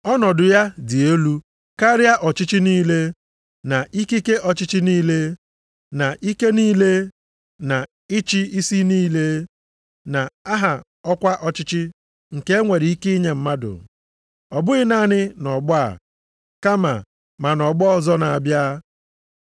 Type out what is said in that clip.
Ọnọdụ ya dị elu karịa ọchịchị niile, na ikike ọchịchị niile, na ike niile na ịchị isi niile, na aha ọkwa ọchịchị nke e nwere ike inye mmadụ, ọ bụghị naanị nʼọgbọ a, kama ma nʼọgbọ ọzọ na-abịa.